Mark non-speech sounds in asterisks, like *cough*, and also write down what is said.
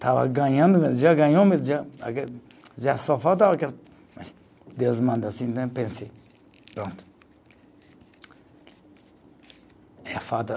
Estava ganhando, já ganhou, *unintelligible* já só falta. *unintelligible* Deus manda assim, né pensei, pronto. *unintelligible*